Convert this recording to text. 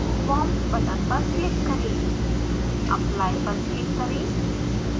worms button पर click करें apply पर क्लिक करें